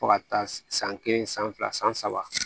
Fo ka taa se san kelen san fila san saba